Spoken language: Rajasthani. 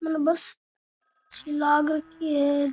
मने बस सी लाग रखी है।